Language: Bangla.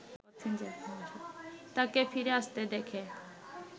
তাকে ফিরে আসতে দেখে